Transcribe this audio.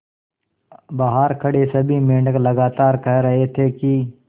बहार खड़े सभी मेंढक लगातार कह रहे थे कि